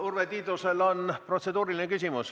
Urve Tiidusel on protseduuriline küsimus.